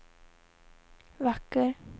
vacker